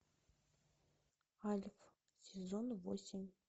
альф сезон восемь